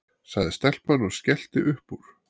sagði stelpan og skellti upp úr.